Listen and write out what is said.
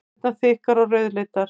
Hendurnar þykkar og rauðleitar.